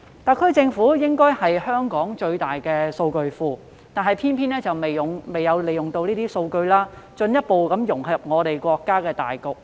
特區政府理應具有香港最大的大數據庫，但卻偏偏沒有利用相關數據以進一步融入國家的發展大局。